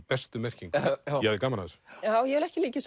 bestu merkingu ég hafði gaman af þessu já ég vil ekki líkja